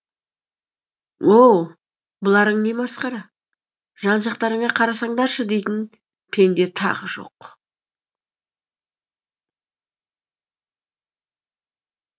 оу бұларың не масқара жан жақтарыңа қарасаңдаршы дейтін пенде тағы жоқ